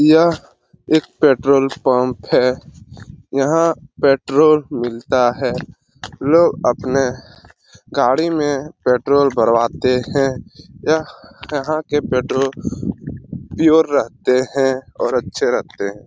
यह एक petrol pump है यहां पेट्रोल मिलता है लोग अपने गाड़ी में पेट्रोल भरवाते है यह यहां के पेट्रोल पियोर रहते हैं और अच्छे रहते हैं।